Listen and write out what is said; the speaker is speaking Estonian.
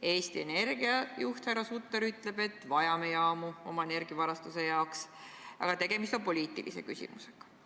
Eesti Energia juht härra Sutter on öelnud, et me vajame jaamu oma energiavarustuse jaoks, aga tegemist on poliitilise küsimusega.